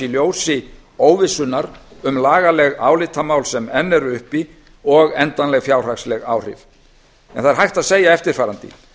ljósi óvissunnar um lagaleg álitamál sem enn eru uppi og endanleg fjárhagsleg áhrif en það er hægt að segja eftirfarandi